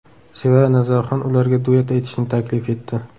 Sevara Nazarxon ularga duet aytishni taklif etdi.